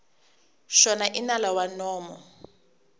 xona i nala wa nomo